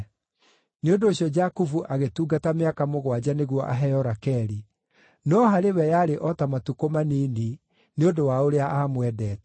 Nĩ ũndũ ũcio Jakubu agĩtungata mĩaka mũgwanja nĩguo aheo Rakeli, no harĩ we yarĩ o ta matukũ manini nĩ ũndũ wa ũrĩa aamwendete.